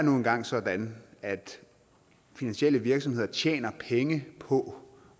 nu engang sådan at finansielle virksomheder tjener penge på